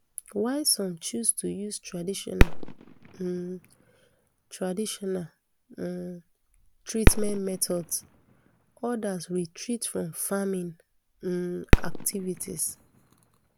while some choose to use traditional um traditional um treatment methods odas retreat from farming um activities